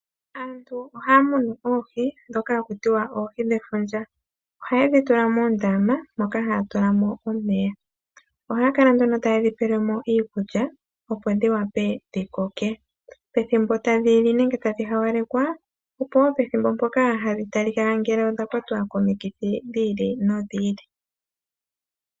Aabtu ohaya munu oohi ndhoka hakutiwa oohi dhefundja oha yedhi tula nduno muundama moka haya tula omeya. Ohaya kala taye dhipelemo iikulya, opo dhi koke. Pethimbo tadhi hawalelwa, opo wo hadhi talika ngele odha kwatwa komikithi dhi ili nodhi ili.